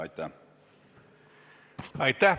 Aitäh!